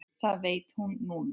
Það veit hún núna.